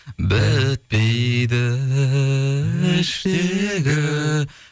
бітпейді іштегі